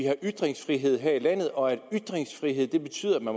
har ytringsfrihed her i landet og at ytringsfrihed betyder